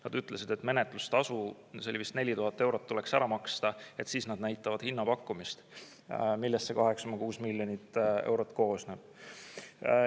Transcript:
Nad ütlesid, et menetlustasu, see oli vist 4000 eurot, tuleks ära maksta, siis nad näitavad hinnapakkumist, millest see 8,6 miljonit eurot koosneb.